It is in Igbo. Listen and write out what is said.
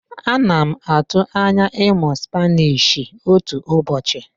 Ana m atụ anya ịmụ Spanishi otu ụbọchị.